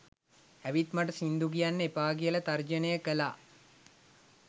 ඇවිත් මට සිංදු කියන්න එපා කියලා තර්ජනය කළා